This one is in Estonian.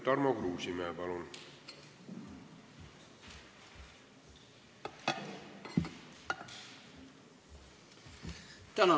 Tarmo Kruusimäe, palun!